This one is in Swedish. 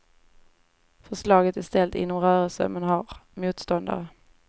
Förslaget är ställt inom rörelsen, men har motståndare.